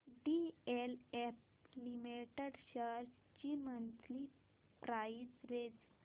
DLF limited shares ची monthly price range